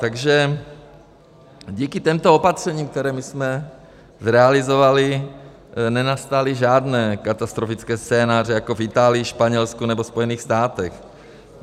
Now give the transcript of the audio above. Takže díky těmto opatřením, která my jsme zrealizovali, nenastaly žádné katastrofické scénáře jako v Itálii, Španělsku nebo Spojených státech.